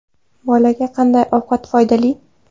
Bolaga qanday ovqat foydali?